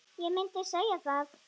Ég myndi segja það.